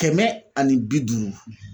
Kɛmɛ ani bi duuru